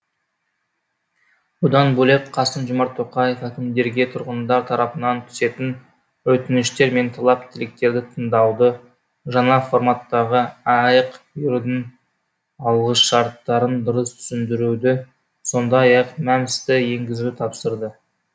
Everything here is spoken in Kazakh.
бұдан бөлек қасым жомарт тоқаев әкімдерге тұрғындар тарапынан түсетін өтініштер мен талап тілектерді тыңдауды жаңа форматтағы аәк берудің алғышарттарын дұрыс түсіндіруді сондай ақ мәмс ті енгізуді тапсырды